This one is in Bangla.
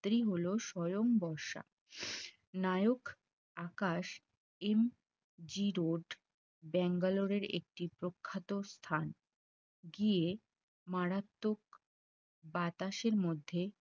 পাত্রী হল স্বয়ং বর্ষা নায়ক Akash M G road Bangalore এর একটি প্রখ্যাত স্থান গিয়ে মারাত্মক বাতাসের মধ্যে